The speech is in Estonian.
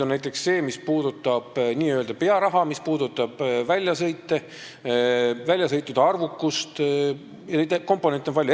Näiteks see, mis puudutab n-ö pearaha, väljasõite, väljasõitude arvukust jne, neid komponente on palju.